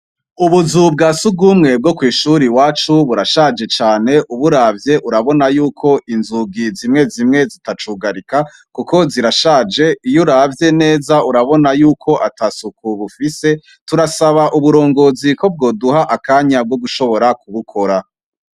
Ubuzu bwa sugumwe bwo kw'ishuri wacu burashaje cane uburavye urabona yuko inzugi zimwe zimwe zitacugarika, kuko zirashaje iyo uravye neza urabona yuko ata suku bufise turasaba uburongozi ko bwoduha akanya bwo gushobora kubukora.